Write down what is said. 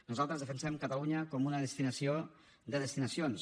nosaltres defensem catalunya com una destinació de destinacions